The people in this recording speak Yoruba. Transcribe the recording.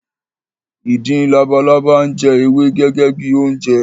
Ìdin labalábá ń jẹ ewé gẹ́gẹ́ bi oúnjẹ